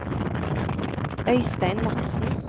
Øystein Madsen